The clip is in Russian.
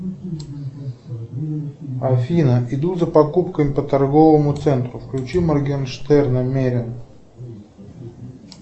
афина иду за покупками по торговому центру включи моргенштерна мерин